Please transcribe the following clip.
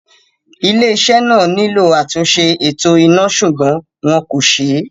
Ilé-iṣẹ́ náà nílò àtúnṣe eto iná ṣùgbọ́n wọn kò ṣe é